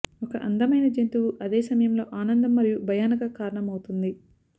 ఒక అందమైన జంతువు అదే సమయంలో ఆనందం మరియు భయానక కారణమవుతుంది